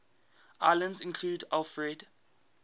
islands included alfred